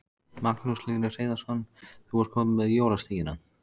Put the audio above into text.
Magnús Hlynur Hreiðarsson: Þú ert komin með jólasteikina?